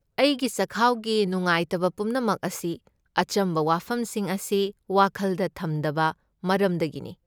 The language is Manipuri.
ꯑꯩꯒꯤ ꯆꯈꯥꯎꯒꯤ ꯅꯨꯡꯉꯥꯏꯇꯕ ꯄꯨꯝꯅꯃꯛ ꯑꯁꯤ ꯑꯆꯝꯕ ꯋꯥꯐꯝꯁꯤꯡ ꯑꯁꯤ ꯋꯥꯈꯜꯗ ꯊꯝꯗꯕ ꯃꯔꯝꯗꯒꯤꯅꯤ꯫